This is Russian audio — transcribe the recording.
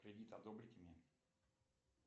кредит одобрите мне